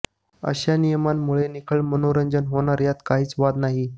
अशा नियमांमुळे निखळ मनोरंजन होणार यात काहीच वाद नाही